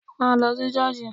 Má lọ sí ṣọ́ọ̀ṣì!